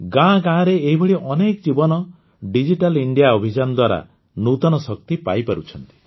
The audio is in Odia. ଗାଁ ଗାଁରେ ଏଇଭଳି ଅନେକ ଜୀବନ ଡିଜିଟାଲ ଇଣ୍ଡିଆ ଅଭିଯାନ ଦ୍ୱାରା ନୂତନ ଶକ୍ତି ପାଇପାରୁଛନ୍ତି